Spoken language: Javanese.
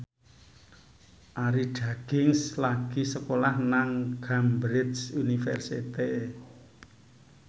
Arie Daginks lagi sekolah nang Cambridge University